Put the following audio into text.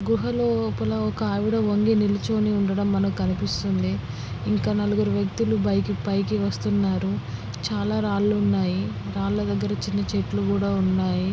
గుహ లోపల ఒక ఆవిడ వంగి నిలుచొని ఉండడం మనకి కనిపిస్తుంది. ఇంకా నలుగురు వ్యక్తులు బైక్ పైకి వస్తునారు చాలా రాళ్ళు ఉన్నాయి. రాళ్ళ ధగర చిన్న చెట్లు కూడా ఉన్నాయి.